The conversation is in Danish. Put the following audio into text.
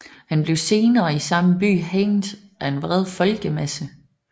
Han blev senere i samme by hængt af en vred folkemasse